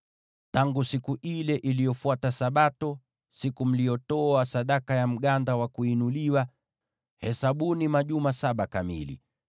“ ‘Tangu siku ile iliyofuata Sabato, siku mliyotoa sadaka ya mganda wa kuinuliwa, hesabuni majuma saba kamili.